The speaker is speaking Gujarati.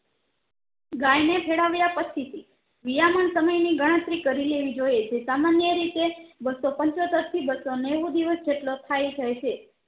ગાય ને ખેડવ્યાં પછી થી વિયામણ સમય ની ગણતરી કરી લેવી જોઈએ જે સામાન્ય રીતે બસો પંચયોતેર થી બસો નેવું દિવસ જેટલો થાય જાય છે